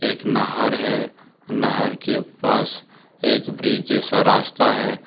इक नहर है। नहर के पास एक ब्रिज जैसा रास्ता है।